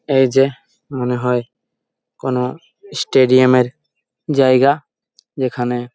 এইযে মনে হয় কোনো স্টেডিয়াম -এর জায়গা যেখানে --